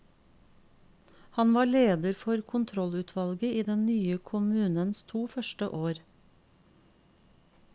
Han var leder for kontrollutvalget i den nye kommunens to første år.